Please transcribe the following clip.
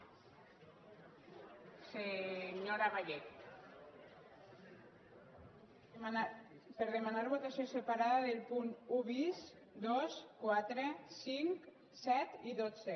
per demanar votació separada dels punts un bis dos quatre cinc set i dotze